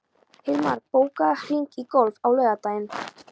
Hilmar, bókaðu hring í golf á laugardaginn.